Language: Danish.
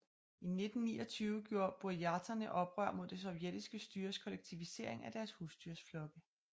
I 1929 gjorde burjaterne oprør mod det sovjettiske styres kollektivisering af deres husdyrsflokke